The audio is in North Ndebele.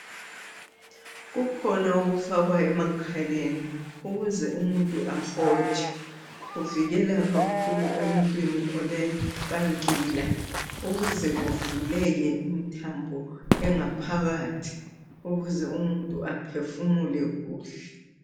Kukhona okufakwayo emakhaleni ukuze umuntu ahotshe kuvikela kakhulu emuntwini olenkankila ukuze kuvuleke imthambo engaphakathi ukuze umuntu aphefumule kuhle.